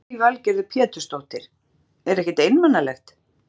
Lillý Valgerður Pétursdóttir: Er ekkert einmanalegt?